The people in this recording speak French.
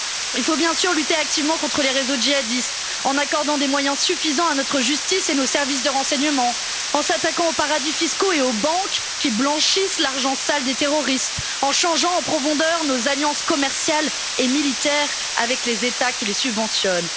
Il faut bien sûr lutter activement contre les réseaux jihadistes, en accordant des moyens suffisants à notre justice et à nos services de renseignements, en s'attaquant aux paradis fiscaux et aux banques qui blanchissent l'argent sale des terroristes, en changeant en profondeur nos alliances commerciales et militaires avec les États qui les subventionnent.